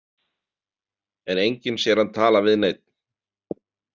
En enginn sér hann tala við neinn.